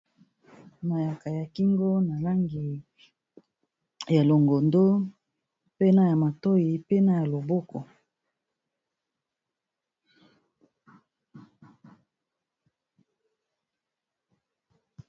mayaka ya kingo na langi ya longondo mpena ya matoi mpena ya loboko